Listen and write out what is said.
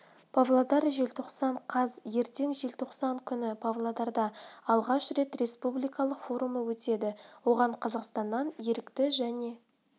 павлодар желтоқсан қаз ертең желтоқсан күні павлодарда алғаш рет республикалық форумы өтеді оған қазақстаннан ерікті және